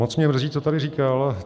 Moc mě mrzí, co tady říkal.